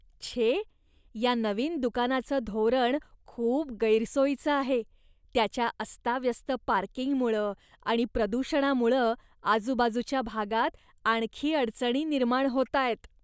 छे! या नवीन दुकानाचं धोरण खूप गैरसोयीचं आहे. त्याच्या अस्ताव्यस्त पार्किंगमुळं आणि प्रदूषणामुळं आजूबाजूच्या भागात आणखी अडचणी निर्माण होतायत.